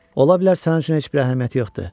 Ola bilər sənin üçün heç bir əhəmiyyəti yoxdur.